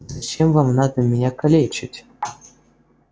зачем вам надо меня калечить